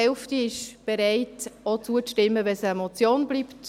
Die Hälfte ist bereit, auch zuzustimmen, wenn es eine Motion bleibt.